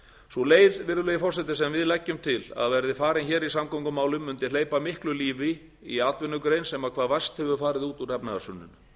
sú leið virðulegi forseti sem við leggjum til að verði farin hér í samgöngumálum mundi hleypa miklu lífi í atvinnugrein sem hvað verst hefur farið út úr efnahagshruninu